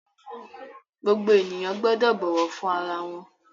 Gbogbo ènìyàn gbọ́dọ̀ bọ̀wọ̀ fún ara wọn!